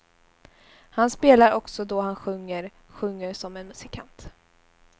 Han spelar också då han sjunger, sjunger som en musikant.